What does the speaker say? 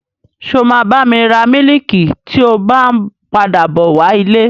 Ṣé o máa bá mi ra mílìkì tí o bá n padà bọ wá ilé?